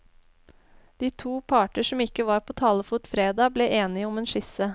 De to parter som ikke var på talefot fredag, ble enige om en skisse.